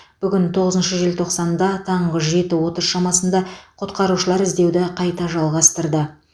бүгін тоғызыншы желтоқсанда таңғы жеті отыз шамасында құтқарушылар іздеуді қайта жалғастырды